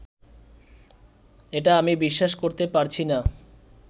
এটা আমি বিশ্বাস করতে পারছি না